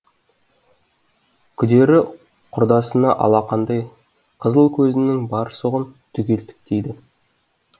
күдері құрдасына алақандай қызыл көзінің бар сұғын түгел тіктейді